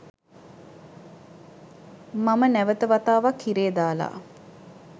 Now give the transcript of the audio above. මම නැවත වතාවක් හිරේ දාලා.